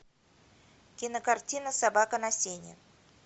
кинокартина собака на сене